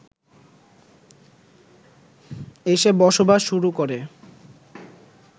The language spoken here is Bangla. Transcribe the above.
এসে বসবাস শুরু করে